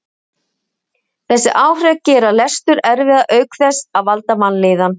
þessi áhrif gera lestur erfiðan auk þess að valda vanlíðan